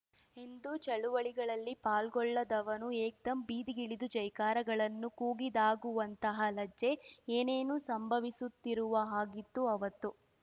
ಎಂದೂ ಚಳುವಳಿಗಳಲ್ಲಿ ಪಾಲ್ಗೊಳ್ಳದವನು ಏಕ್ದಂ ಬೀದಿಗಿಳಿದು ಜೈಕಾರಗಳನ್ನು ಕೂಗಿದಾಗಾಗುವಂತಹ ಲಜ್ಜೆ ಏನೇನೋ ಸಂಭವಿಸುತ್ತಿರುವ ಹಾಗಿತ್ತು ಅವತ್ತು